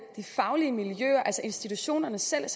de faglige miljøer altså institutionerne selv